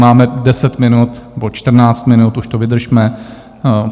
Máme 10 minut nebo 14 minut, už to vydržme.